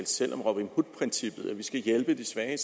selv om robin hood princippet altså at vi skal hjælpe de svage